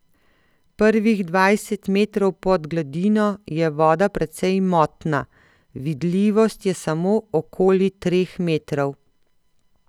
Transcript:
Prvih dvajset metrov pod gladino je voda precej motna, vidljivost je samo okoli treh metrov.